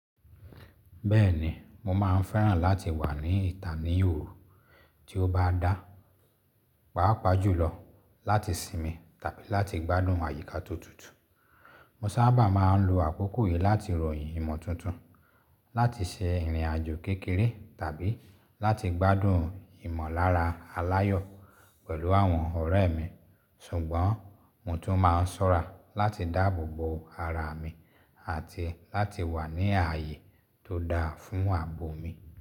Bẹ́ẹ̀ni, mo máa ń fẹ́ràn láti wà ní ìta ní òru tí ó bá dá, pàápàá jùlọ láti sinmi tàbí láti gbádùn àyíká to tutù. Mo sábà máa ń lo àkókò yìí láti ròyìn ìmọ̀ tuntun, láti ṣe ìrìnàjò kékeré tàbí láti gbádùn ìmọ̀lára aláyọ̀ pẹ̀lú àwọn ọ̀rẹ́ mi. Ṣùgbọ́n mo tún máa ń ṣọ́ra láti dáàbò bo ara mi àti láti wà ní ààyè tó dáa fún ààbò mi.